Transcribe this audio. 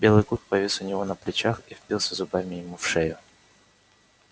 белый клык повис у него на плечах и впился зубами ему в шею